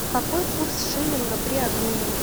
какой курс шиллинга при обмене